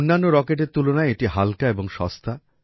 অন্যান্য রকেটের তুলনায় এটি হালকা এবং সস্তা